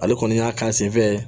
Ale kɔni y'a k'an sen fɛ